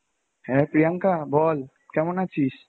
হ্যাঁ প্রিয়াঙ্কা বল কেমন আছিস?